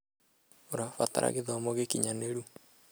ũrabatara gĩthomo gĩkinyanĩru